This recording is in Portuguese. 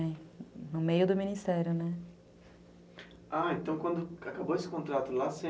No meio do ministério, né, ah, então quando acabou esse contrato lá